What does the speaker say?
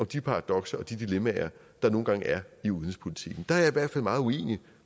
de paradokser og de dilemmaer der nu engang er i udenrigspolitikken der er jeg i hvert fald meget uenig